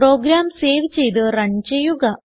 programme save ചെയ്ത് run ചെയ്യുക